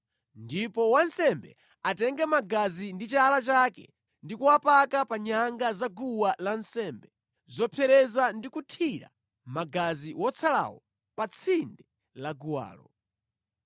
Ndipo wansembe atenge magazi ndi chala chake ndi kuwapaka pa nyanga za guwa lansembe zopsereza ndi kuthira magazi wotsalawo pa tsinde la guwalo.